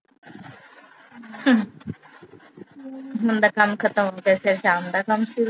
ਹੁਣ ਦਾ ਕੰਮ ਖਤਮ ਹੋਗਿਆ ਫਿਰ ਸ਼ਾਮ ਦਾ ਕੰਮ ਸ਼ੁਰੂ।